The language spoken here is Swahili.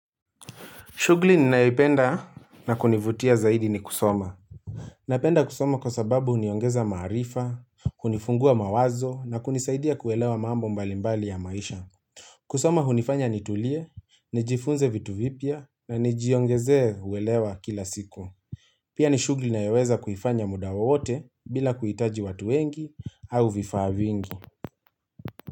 Shugli ninaipenda na kunivutia zaidi ni kusoma. Napenda kusoma kwa sababu uniongeza marifa, kunifungua mawazo na kunisaidia kuwelewa mambo mbalimbali ya maisha. Kusoma unifanya nitulie, nijifunze vitu vipia na nijiongeze uwelewa kila siku. Pia ni shugli nayaweza kuifanya mudawa wote bila kuitaji watu wengi au vifaa vingi.